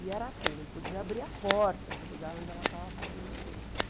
E era assim, não podia abrir a porta do lugar onde ela estava fazendo o doce.